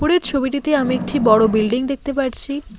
উপরের ছবিটিতে আমি একটি বড়ো বিল্ডিং দেখতে পারছি।